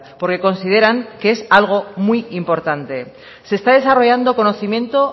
porque consideran que es algo muy importante se está desarrollando conocimiento